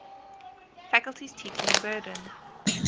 faculty's teaching burden